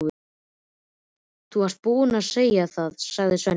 Þú varst búinn að segja það, sagði Svenni.